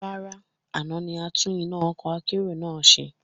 Rárá, àná ni atún iná ọkọ́ akérò ńlá náà ṣe